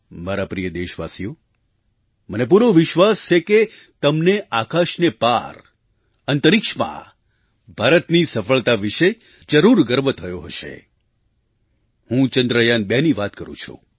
મારા પ્રિય દેશવાસીઓ મને પૂરો વિશ્વાસ છે કે તમને આકાશને પાર અંતરિક્ષમાં ભારતની સફળતા વિશે જરૂર ગર્વ થયો હશે હું ચંદ્રયાન2ની વાત કરું છું